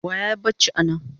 Wa yayi bacci anan?